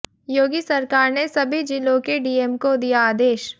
योगी सरकार ने सभी जिलों के डीएम को दिया आदेश